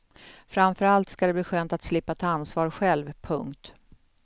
Framför allt ska det bli skönt att slippa ta ansvar själv. punkt